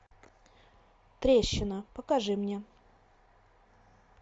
трещина покажи мне